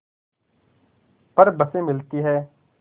पर बसें मिलती हैं